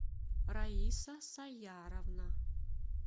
раиса саяровна